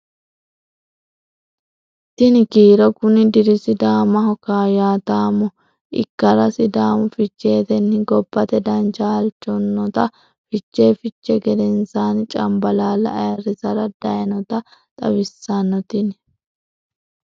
Tini kiiro kuni diri Sidaamaho kaayyaataamo ikkara Sidaamu Ficheetenni gobbate dancha halchannotanna Fichee fichii gedensaanni Cambalaalla ayirrisara daynota xawissanno Tini.